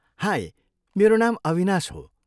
High, मेरो नाम अविनाश हो।